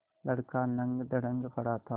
लड़का नंगधड़ंग पड़ा था